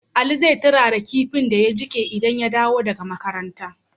Ali zai turara kinfin da ya jike idan ya dawo daka makaranta